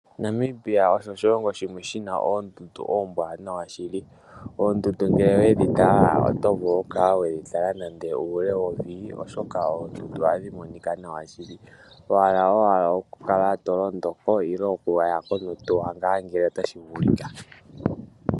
Namibia osho oshilongo shimwe shi na oondundu oombwaanawa shili. Oondundu ngele we dhi tala oto vulu okukala we dhi tala uule wowili, oshoka oondundu ohadhi monika nawa shili. Wa hala owala okukala to londo ko nenge wa ya ko nohauto ngele otashi vulika.